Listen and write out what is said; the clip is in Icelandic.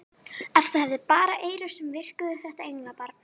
Ef það hefði bara eyru sem virkuðu þetta englabarn!